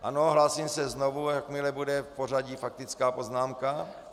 Ano, hlásím se znovu, jakmile bude v pořadí faktická poznámka.